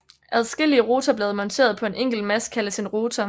Adskillige rotorblade monteret på en enkelt mast kaldes en rotor